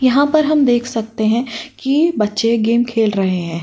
यहां पर हम देख सकते हैं कि बच्चे गेम खेल रहे हैं।